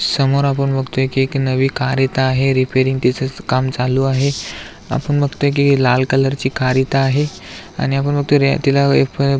समोर आपण बघतोय की एक नवी कार इथ आहे रिपेरिंग तीच काम चालू आहे आपण बघतोय की लाल कलर ची कार इथ आहे आणि आपण बघतोय की तिला--